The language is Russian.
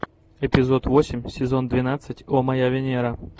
эпизод восемь сезон двенадцать о моя венера